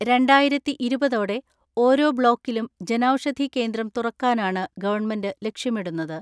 രണ്ടായിരത്തിഇരുപതോടെ ഓരോ ബ്ലോക്കിലും ജനൗഷധി കേന്ദ്രം തുറക്കാനാണ് ഗവൺമെന്റ് ലക്ഷ്യമിടുന്നത്.